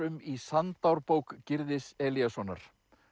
um í Gyrðis Elíassonar